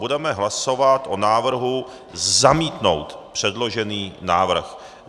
Budeme hlasovat o návrhu zamítnout předložený návrh.